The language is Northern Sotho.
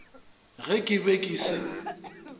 ge ke be ke se